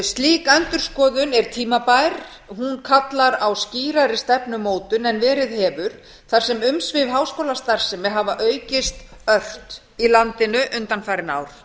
slík endurskoðun er tímabær hún kallar á skýrari stefnumótun en verið hefur þar sem umsvif háskólastarfsemi hafa aukist ört í landinu undanfarin ár